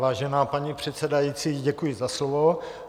Vážená paní předsedající, děkuji za slovo.